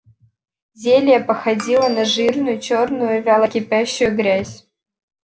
зелье походило на жирную чёрную вяло кипящую грязь